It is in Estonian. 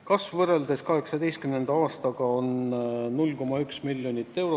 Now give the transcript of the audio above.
Kasv võrreldes 2018. aastaga on 0,1 miljonit eurot.